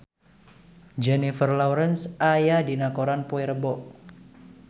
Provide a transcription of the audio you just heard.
Jennifer Lawrence aya dina koran poe Rebo